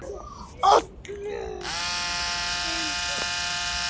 Allir sem einn.